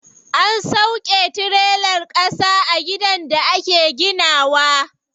An sauƙe tirelar ƙasa a gidan da ake gina wa.